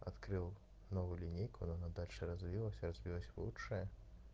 открыл новую линейку но она дальше развилась развилась лучшая